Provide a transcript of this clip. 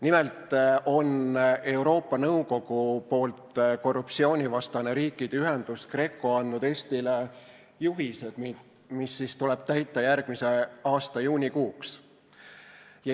Nimelt on Euroopa Nõukogu korruptsioonivastane riikide ühendus GRECO andnud Eestile juhised, mis tuleb täita järgmise aasta juunikuuks.